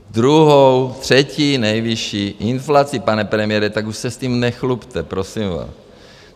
Druhou, třetí nejvyšší inflaci, pane premiére, tak už se s tím nechlubte, prosím vás.